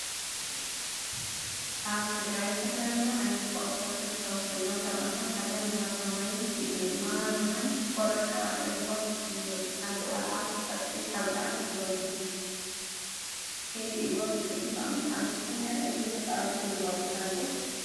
አብ ትግራይ ዝተፈላለዩ ዓይነታት ፀወታት ዝርከቡ ኮይኖም ካብአቶም ሓደ ማሃረማይ እዩ። ማሃረማይ ቆልዑ ከቢቦም ከፍ ይብሉ ሓንቲ ቆልዓ ጨርቂ ሓብአ ትዘውሪ ከይረእይዎ ብድሕሪተ ተቅምጣ። ንስኩም ከ እዚ ተፃዊትኩም ዶ ትፈልጡ?